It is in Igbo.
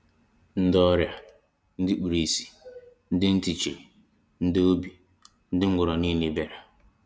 Ndị ọrịa, ndị kpuru ìsì, ndị ntị chiri, ndị ogbi, ndị ngwọrọ niile bịara.